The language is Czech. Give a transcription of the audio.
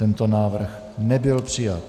Tento návrh nebyl přijat.